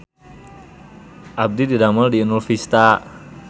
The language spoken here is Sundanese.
Abdi didamel di Inul Vista